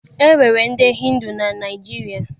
E nwere ndị Hindu na Naịjirịa